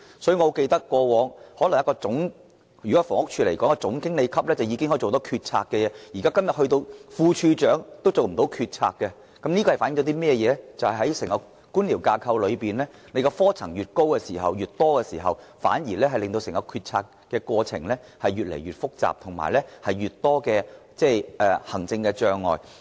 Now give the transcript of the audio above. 以房屋署為例，以往一位總經理級員工已經可以作出決策，但今天即使副署長也不能這樣做，這反映整個官僚架構的科層如果越來越高或越來越多，整個決策過程反而變得越來越複雜和越來越多行政障礙。